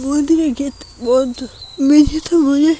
উপ-র দিকে গেট বন্ধ মেঝেতে |